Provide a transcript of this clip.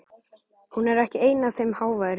Hún er ekki ein af þeim háværu.